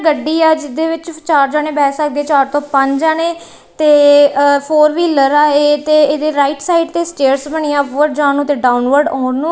ਗੱਡੀ ਆ ਜਿਹਦੇ ਵਿੱਚ ਸਿਰ੍ਫ ਚਾਰ ਜਨੇ ਬੈ ਸਕਦੇ ਚਾਰ ਤੋਂ ਪੰਜ ਜਾਨੇ ਤੇ ਅ ਫੋਰ ਵ੍ਹੀਲਰ ਆ ਇਹ ਤੇ ਇਹਦੇ ਰਾਈਟ ਸਾਈਡ ਤੇ ਸਟੇਅਰਸ ਬਣਿਆ ਅਪਵਰਡ ਜਾਣ ਨੂੰ ਤੇ ਡਾਊਨਵਰਡ ਆਉਣ ਨੂੰ।